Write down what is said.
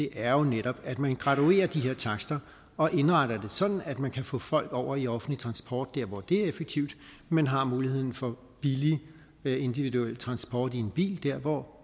er jo netop at man graduerer de her takster og indretter det sådan at man kan få folk over i offentlig transport der hvor det er effektivt men har muligheden for billig individuel transport i en bil der hvor